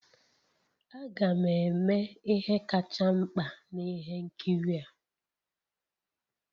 Aga m eme ihe kacha mkpa na ihe nkiri a